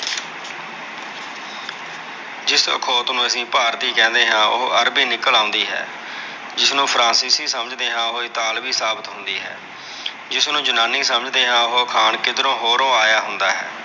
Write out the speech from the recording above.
ਜਿਸ ਅਖੌਤ ਨੂੰ ਅਸੀ ਭਾਰਤੀ ਕਹਿੰਦੇ ਆ, ਉਹੋ ਅਰਬੀ ਨਿਕਲ ਆਉਂਦੀ ਹੈ। ਜਿਸ ਨੂੰ ਫਰਾਂਸੀਸੀ ਸਮਝ ਦੇ ਆ ਉਹ ਇਤਾਵਲੀ ਸਾਬਤ ਹੁੰਦੀ ਹੈ। ਜਿਸ ਨੂੰ ਜਨਾਨੀ ਸਮਝ ਦੇ ਆ, ਉਹ ਅਖਾਣ ਕਿਧਰੋ ਹੋਰੋਂ ਆਇਆ ਹੁੰਦਾ ਹੈ।